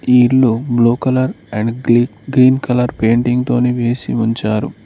నీళ్లు blue colour and green colour painting తోని వేసి ఉంచారు.